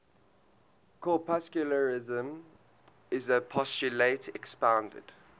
corpuscularianism is the postulate expounded